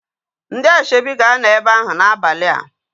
Ndị asoebi ga-anọ ebe ahu n'abalia